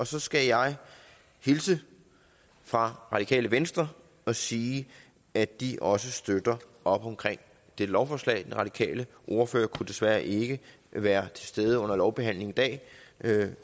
så skal jeg hilse fra radikale venstre og sige at de også støtter op om dette lovforslag den radikale ordfører kunne desværre ikke være til stede under lovbehandlingen i dag